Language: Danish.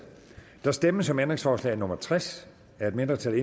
der stemmes om ændringsforslag nummer tres af et mindretal